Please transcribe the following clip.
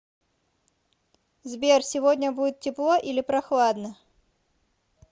сбер сегодня будет тепло или прохладно